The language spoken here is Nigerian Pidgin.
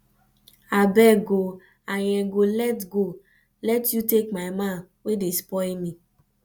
abeg oo i n go let go let you take my man wey dey spoil me